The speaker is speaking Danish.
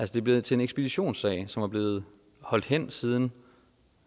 det er blevet til ekspeditionssag som er blevet holdt hen siden